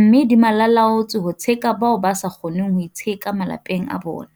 mme di malalaalaotswe ho tsheka bao ba sa kgoneng ho itsheka malapeng a bona.